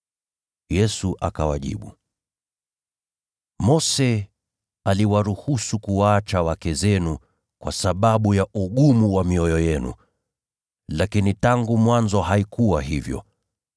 Yesu akawajibu, “Mose aliwaruhusu kuwaacha wake zenu kwa sababu ya ugumu wa mioyo yenu. Lakini tangu mwanzo haikuwa hivyo.